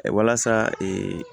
Walasa